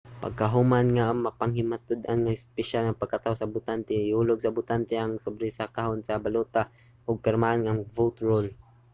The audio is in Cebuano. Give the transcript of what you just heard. pagkahuman nga mapanghimatud-an sa mga opisyal ang pagkatawo sa botante ihulog sa botante ang sobre sa kahon sa balota ug pirmahan ang vote roll